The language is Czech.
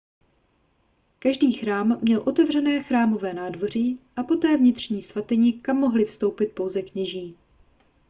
každý chrám měl otevřené chrámové nádvoří a poté vnitřní svatyni kam mohli vstoupit pouze kněží